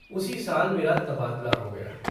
उसी साल मेरा तबादला हो गया।